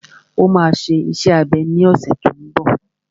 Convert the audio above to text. Ó máa ṣe iṣẹ́ abẹ ní ọ̀sẹ̀ tó n bọ̀